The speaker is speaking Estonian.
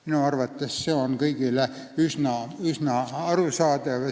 Minu arvates on see kõigile üsna arusaadav.